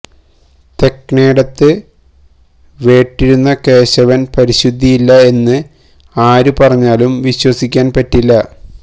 തെക്ക്ണ്യേടത്ത് വേട്ടിരുന്ന കേശവന് പരിശുദ്ധിയില്ല എന്ന് ആരു പറഞ്ഞാലും വിശ്വസിക്കാന് പറ്റില്ല